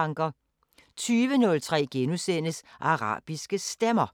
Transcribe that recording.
20:03: Arabiske Stemmer